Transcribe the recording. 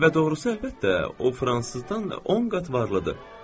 Və doğrusu əlbəttə, o fransızdan 10 qat varlıdır.